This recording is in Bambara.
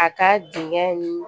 A ka dingɛ nin